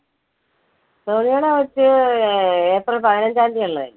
സോണിയെടെ കൊച്ച് അഹ് ഏ~ഏപ്രിൽ പതിനഞ്ചാം തീയതി അല്ലെ?